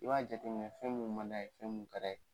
I b'a jate minɛ fɛn minnu man d'a ye fɛn mun ka d'a ye.